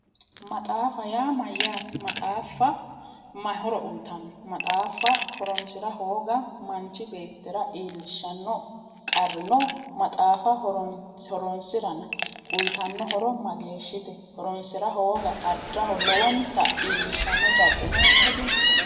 Maxaaffayaa mayaate maxaaffa mayi horo uyitanno maxaaffa horoonsira hooga manchi beettira abitanno qarri no maxaaffa horoonsira uutanno hoto mageeshshite